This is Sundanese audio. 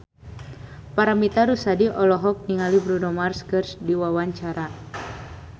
Paramitha Rusady olohok ningali Bruno Mars keur diwawancara